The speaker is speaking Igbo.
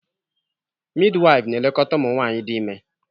Midwife na-elekọta ụmụ nwanyị dị ime